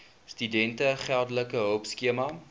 studente geldelike hulpskema